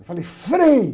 Eu falei, Frei!